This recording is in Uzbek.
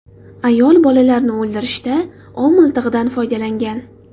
Ayol bolalarini o‘ldirishda ov miltig‘idan foydalangan.